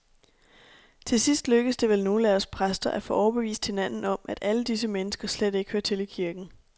Til sidst lykkes det vel nogle af os præster at få overbevist hinanden om, at alle disse mennesker slet ikke hører til i kirken.